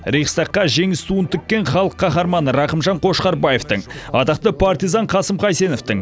рейхстагқа жеңіс туын тіккен халық қаһарманы рақымжан қошқарбаевтың атақты партизан қасым қайсеновтің